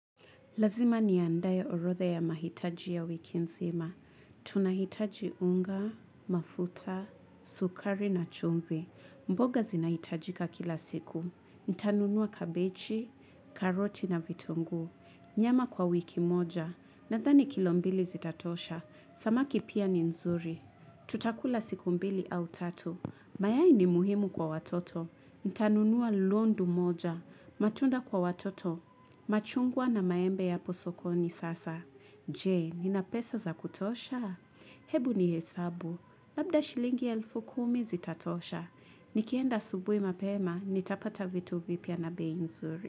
Lazima niandae orodha ya mahitaji ya wiki nzima. Tunahitaji unga, mafuta, sukari na chumvi. Mboga zinahitajika kila siku. Nitanunua kabechi, karoti na vitunguu. Nyama kwa wiki moja. Nadhani kilo mbili zitatosha. Samaki pia ni nzuri. Tutakula siku mbili au tatu. Mayai ni muhimu kwa watoto. Ntanunua londu moja. Matunda kwa watoto. Machungwa na maembe ya apo sokoni sasa. Je, nina pesa za kutosha? Hebu ni hesabu. Labda shilingi elfu kumi zitatosha. Nikienda asubuhi mapema, nitapata vitu vipya na bei nzuri.